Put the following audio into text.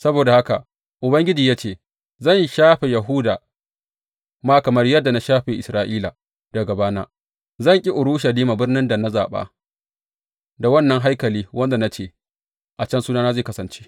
Saboda haka Ubangiji ya ce, Zan shafe Yahuda ma kamar yadda na shafe Isra’ila, daga gabana, zan ƙi Urushalima birnin da na zaɓa, da wannan haikali wanda na ce, A can Sunana zai kasance.’